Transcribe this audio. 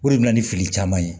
O de bɛ na ni fili caman ye